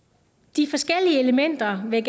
de forskellige elementer vil